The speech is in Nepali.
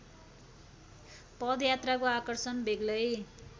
पदयात्राको आकर्षण बेग्लै